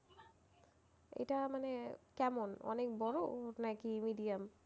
এটা মানে কেমন অনেক বড় নাকি medium?